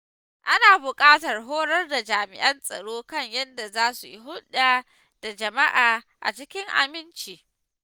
Ana buƙatar horar da jami’an tsaro kan yadda za su yi hulɗa da jama’a cikin aminci.